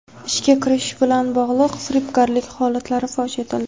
Ishga kiritish bilan bog‘liq firibgarlik holatlari fosh etildi.